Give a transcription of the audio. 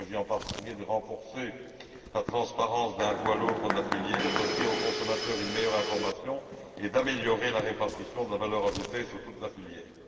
Il s'agit en particulier de renforcer la transparence d'un bout à l'autre de la filière, d'offrir aux consommateurs une meilleure information et d'améliorer la répartition de la valeur ajoutée sur toute la filière.